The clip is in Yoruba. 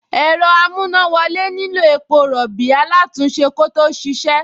Ẹ̀rọ amúnáwọlé nílò epo rọ̀bì alátùn-únṣe kó tó ṣíṣe